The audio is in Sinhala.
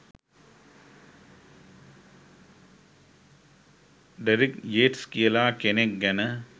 ඩෙරික් යේට්ස් කියලා කෙනෙක් ගැන